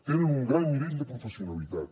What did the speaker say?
tenen un gran nivell de professionalitat